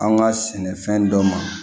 An ka sɛnɛfɛn dɔ ma